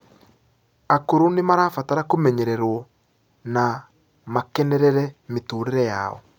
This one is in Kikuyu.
akũrũ nimarabatara kumenyererwo na makenerere miturire yao